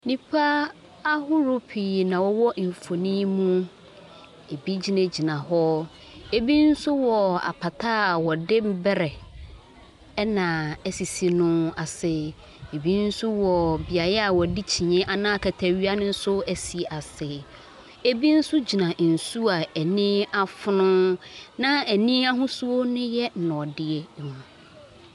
Nnipa ahorow pii na wɔwɔ mfoni yi mu egyina gyina hɔ. Ebi nso wɔ apata a wɔde berɛ ɛna esisi no ase. Ebi nso wɔ beaeɛ a wɔde kyene anaa akata awia nso esi ase. Ebi nso gyina nsuo a ani afono na ani ahosuo ne yɛ nɔɔdeɛ.